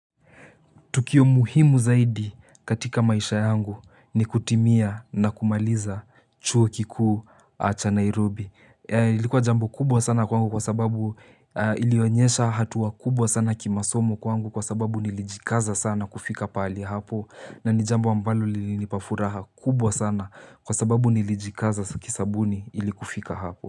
Tukio muhimu zaidi katika maisha yangu ni kutimia na kumaliza chuo kikuu cha Nairobi. Ilikuwa jambo kubwa sana kwangu kwa sababu ilionyesha hatua kubwa sana kimasomo kwangu kwa sababu nilijikaza sana kufika pahali hapo. Na ni jambo ambalo lilinipa furaha kubwa sana kwa sababu nilijikaza kisabuni ili kufika hapo.